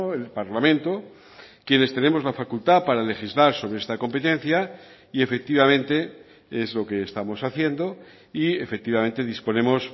el parlamento quienes tenemos la facultad para legislar sobre esta competencia y efectivamente es lo que estamos haciendo y efectivamente disponemos